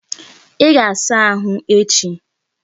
Ị ga-asa nwa ahụ echi!